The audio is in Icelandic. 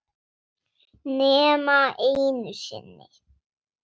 Nema einu sinni.